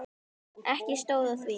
Ekki stóð á því.